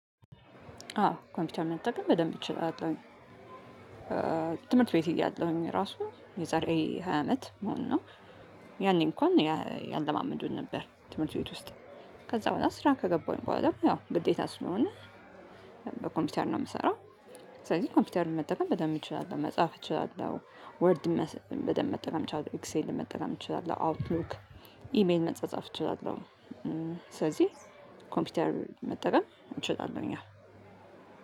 አዎ ኮምፒውተር መጠቀም በደንብ እችላለሁኝ ትምህርት ቤት እያለሁኝ ራሱ የዛሬ ሃያ አመት ማለት ነው። ያኔ እንኳን ያለማመዱን ነበር ትምህርት ቤት ውስጥ። ከዛ በኋላ ስራ ከገባሁኝ በኋላ ያው ግዴታ ስለሆነ በኮምፒውተር ነው የምሰራው። ስለዚህ ኮምፒውተርን መጠቀም በደንብ እንችላለን መጻፍ እንችላለን ወርድ በደንብ መጠቀም እችላለሁ ኤክሴል መጠቀም እንችላለን አውትሩክ ኢሜል መጻጻፍ እችላለሁ። ስለዚህ ኮምፒውተር መጠቀም እንችላለሁኝ አዎ